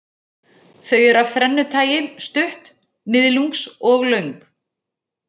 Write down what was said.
Þau eru af þrennu tagi, stutt, miðlungs og löng.